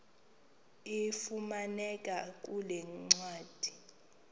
ifumaneka kule ncwadi